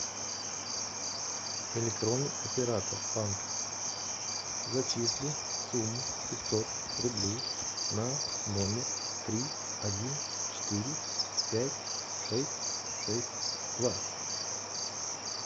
электронный оператор банка зачисли сумму пятьсот рублей на номер три один четыре пять шесть шесть два